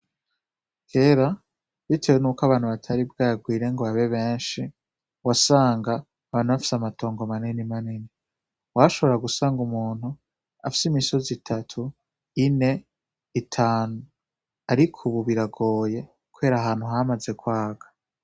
Kera, bitewe niuko abantu bataribwa yagwire ngo babe benshi wasanga bantu bafise amatongo manene manene washobora gusanga umuntu afise imisozi itatu ine itanu, ariko, ubu biragoye kwera ahantu hamaze kwaga.